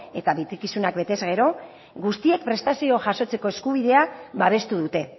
eta betekizunak betez gero guztiek prestazioa jasotzeko eskubidea babestu dute